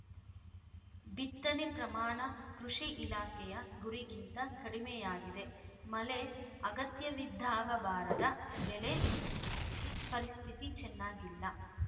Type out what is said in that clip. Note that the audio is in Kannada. ಬಿತ್ತನೆ ಪ್ರಮಾಣ ಕೃಷಿ ಇಲಾಖೆಯ ಗುರಿಗಿಂತ ಕಡಿಮೆಯಾಗಿದೆ ಮಳೆ ಅಗತ್ಯವಿದ್ದಾಗ ಬಾರದ ಬೆಳೆ ಪರಿಸ್ಥಿತಿ ಚೆನ್ನಾಗಿಲ್ಲ